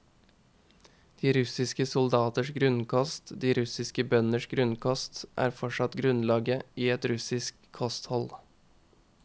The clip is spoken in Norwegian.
De russiske soldaters grunnkost, de russiske bønders grunnkost, er fortsatt grunnlaget i et russisk kosthold.